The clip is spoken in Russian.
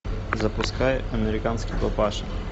запускай американский папаша